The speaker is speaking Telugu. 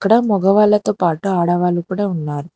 ఇక్కడ మగవాళ్ళతో పాటు ఆడవాళ్ళు కూడా ఉన్నారు.